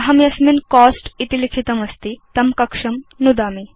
अहं यस्मिन् कोस्ट इति लिखितमस्ति तं कक्षं नुदामि